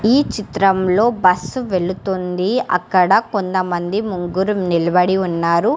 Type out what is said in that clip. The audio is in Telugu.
ఈ చిత్రంలో బస్సు వెలుతుంది అక్కడ కొందమంది ముగ్గురు నిలబడి ఉన్నారు.